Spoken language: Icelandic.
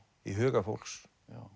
í huga fólks